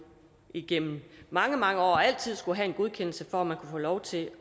igennem mange mange år altid skullet have en godkendelse for at man kunne få lov til